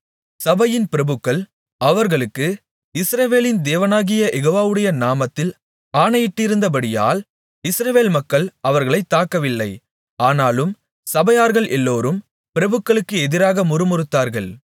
சபையின் பிரபுக்கள் அவர்களுக்கு இஸ்ரவேலின் தேவனாகிய யெகோவாவுடைய நாமத்தில் ஆணையிட்டிருந்தபடியால் இஸ்ரவேல் மக்கள் அவர்களைத் தாக்கவில்லை ஆனாலும் சபையார்கள் எல்லோரும் பிரபுக்களுக்கு எதிராக முறுமுறுத்தார்கள்